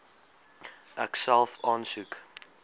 ek self aansoek